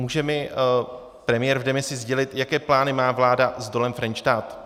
Může mi premiér v demisi sdělit, jaké plány má vláda s dolem Frenštát?